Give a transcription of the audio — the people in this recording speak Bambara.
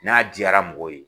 N'a diyara mɔgɔw ye